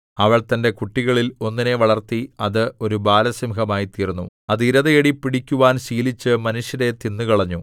അവൾ തന്റെ കുട്ടികളിൽ ഒന്നിനെ വളർത്തി അത് ഒരു ബാലസിംഹമായിത്തീർന്നു അത് ഇരതേടി പിടിക്കുവാൻ ശീലിച്ച് മനുഷ്യരെ തിന്നുകളഞ്ഞു